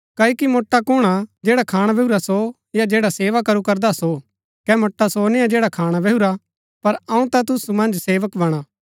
क्ओकि मोट्आ कुणआ जैडा खाणा बैहुरा सो या जैडा सेवा करू करदा सो कै मोट्आ सो निआ जैडा खाणा बैहुरा पर अऊँ ता तुसु मन्ज सेवक बणा